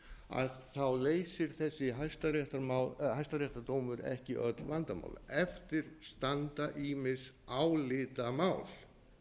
benti á leysir þessi hæstaréttardómur ekki öll vandamál eftir standa ýmis álitamál